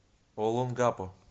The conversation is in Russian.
олонгапо